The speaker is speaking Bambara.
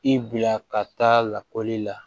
I bila ka taa lakɔli la